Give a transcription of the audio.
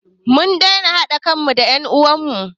Mun daina haɗa kan mu da en uwan mu